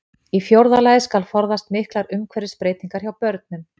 Í fjórða lagi skal forðast miklar umhverfisbreytingar hjá börnum.